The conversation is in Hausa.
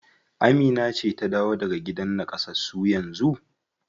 Amina ce ta dawo daga gidan nakasassu yanzu?